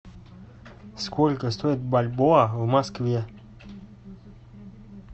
сколько стоит бальбоа в москве